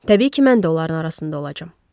Təbii ki, mən də onların arasında olacam.